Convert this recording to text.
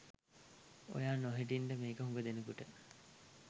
ඔයා නොහිටින්ඩ මේක හුග දෙනෙකුට